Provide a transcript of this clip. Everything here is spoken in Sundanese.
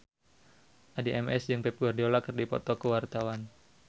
Addie MS jeung Pep Guardiola keur dipoto ku wartawan